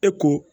E ko